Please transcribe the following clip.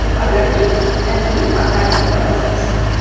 ও parlour -টি একদমই ফাঁকা দেখতে পাওয়া যাচ্ছে ।